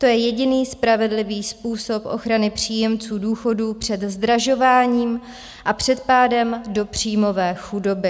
To je jediný spravedlivý způsob ochrany příjemců důchodů před zdražováním a před pádem do příjmové chudoby.